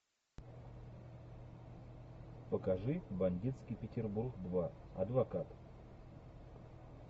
покажи бандитский петербург два адвокат